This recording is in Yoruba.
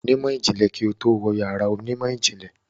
Wà á pàdé onímọ̀ ìjìnlẹ̀ yàrá ìmọ̀ ìjìnlẹ̀ kí o tó wọ inú yàrá ìmọ̀-ìjìnlẹ̀.